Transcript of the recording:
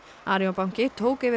Arion banki tók yfir